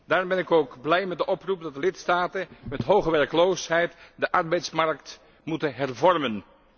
Daarom ben ik ook blij met de oproep dat de lidstaten met hoge werkloosheid de arbeidsmarkt moeten hervormen.